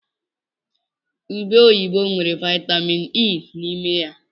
Ụbe oyibo nwere Vaịtamin Ii n'ime ya.